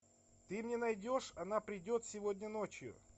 ты мне найдешь она придет сегодня ночью